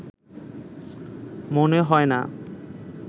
মনে হয় না